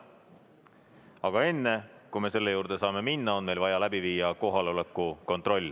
Aga enne, kui me selle juurde saame minna, on meil vaja läbi viia kohaloleku kontroll.